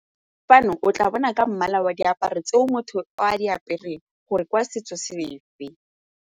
Dano o tla bona ka mmala wa diaparo tseo motho o a di apereng gore ke wa setso sefe.